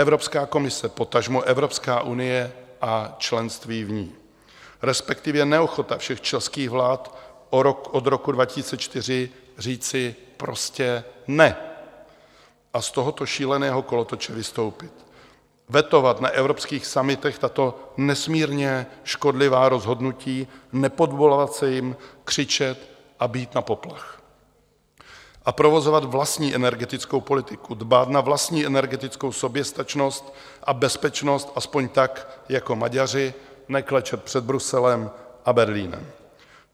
Evropská komise, potažmo Evropská unie a členství v ní, respektive neochota všech českých vlád od roku 2004 říci prostě "ne" a z tohoto šíleného kolotoče vystoupit, vetovat na evropských summitech tato nesmírně škodlivá rozhodnutí, nepodvolovat se jim, křičet a bít na poplach a provozovat vlastní energetickou politiku, dbát na vlastní energetickou soběstačnost a bezpečnost, aspoň tak jako Maďaři, neklečet před Bruselem a Berlínem.